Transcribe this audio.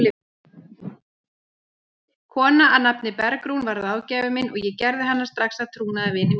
Kona að nafni Bergrún varð ráðgjafinn minn og ég gerði hana strax að trúnaðarvini mínum.